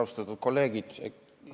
Austatud kolleegid!